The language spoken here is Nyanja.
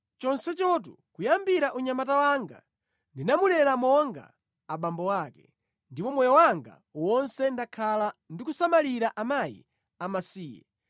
chonsechotu kuyambira unyamata wanga ndinamulera monga abambo ake, ndipo moyo wanga wonse ndakhala ndikusamalira akazi amasiye,